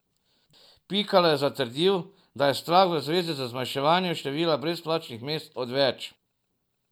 Pikalo je zatrdil, da je strah v zvezi z zmanjševanjem števila brezplačnih mest odveč.